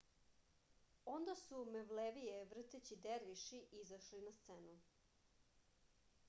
онда су мевлевије вртећи дервиши изашле на сцену